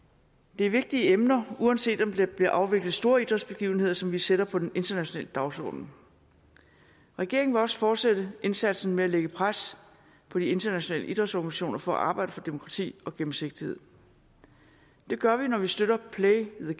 det er vigtige emner uanset om der bliver afviklet store idrætsbegivenheder som vi sætter på den internationale dagsorden regeringen vil også fortsætte indsatsen med at lægge pres på de internationale idrætsorganisationer for at arbejde for demokrati og gennemsigtighed det gør vi når vi støtter play the